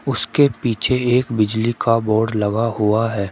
उसके पीछे एक बिजली का बोर्ड लगा हुआ है।